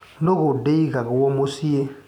Nũgũ ndĩigago mũcĩĩ.